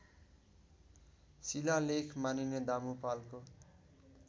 शिलालेख मानिने दामुपालको